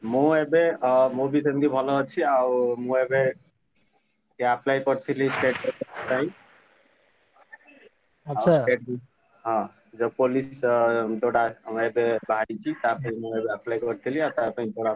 ମୁଁ ଏବେ ଅ ମୁଁ ବି ସେମତି ଭଲ ଅଛି ଆଉ ମୁଁ ଏବେ, ଏ apply କରିଥିଲି state ପାଇଁ ଆଉ state ହଁ ଯୋଉ police ଅ ଯୋଉଟା ଉଁ ଏବେ ବାହାରିଛି। ତା ପାଇଁ ମୁଁ ଏବେ apply କରିଥିଲି, ଆ ତାପାଇଁ ଏବେ ପଢା।